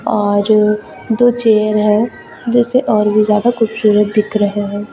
और दो चेयर है जिससे और भी ज्यादा खूबसूरत दिख रहे हैं।